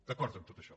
d’acord a tot això